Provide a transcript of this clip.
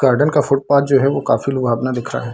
Garden का footpath जो है वो काफी लुभावना दिख रहा है।